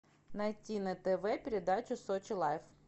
найти на тв передачу сочи лайф